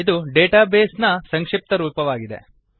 ಇದು database ನ ಸಂಕ್ಷಿಪ್ತರೂಪವಾಗಿದೆ